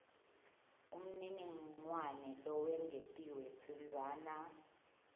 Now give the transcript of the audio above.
umniningwane lowengetiwe tsintsana